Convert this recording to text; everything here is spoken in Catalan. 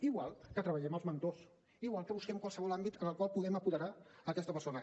igual que treballem els mentors igual que busquem qualsevol àmbit en el qual puguem apoderar aquesta persona